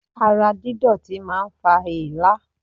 Ara dídọ̀tí máa ń fa èélá.